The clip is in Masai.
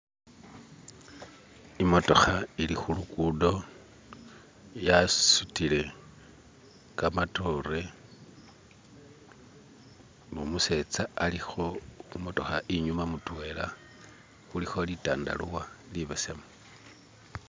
imotoha ili hulugudo yasutile kamatore numusetsa aliho humotoha inyuma mutwela huliho litandalwa libesemu